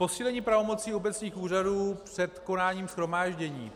Posílení pravomocí obecních úřadů před konáním shromáždění.